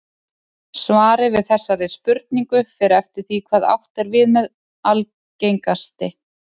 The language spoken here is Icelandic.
Svarið við þessari spurningu fer eftir því hvað átt er við með algengasti.